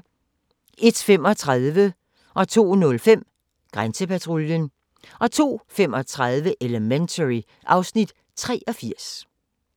01:35: Grænsepatruljen 02:05: Grænsepatruljen 02:35: Elementary (Afs. 83)